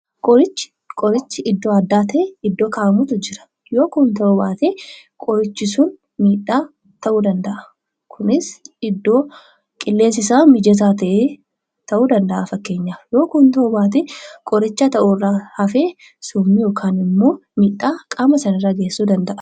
Qorichi iddoo addaa kaawwamu ni jira. Yoo kana ta'uu baate miidhaa ta'uu danda'a. Kunis iddoo qilleensi isaa mijate ta'uu danada'a. Yoo kana ta'uu baate qoricha sun irra darbee summii ta'uun dhiibbaa namarraan ga'uu danda'a.